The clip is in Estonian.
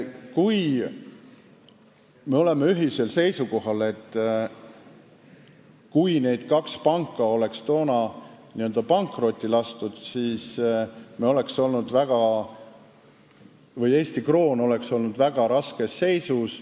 Me ehk oleme ühisel seisukohal, et kui need kaks panka oleks toona pankrotti lastud, siis oleks Eesti kroon olnud väga raskes seisus.